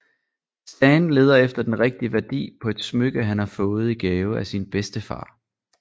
Stan leder efter den rigtige værdi på et smykke han har fået i gave af sin bedstefar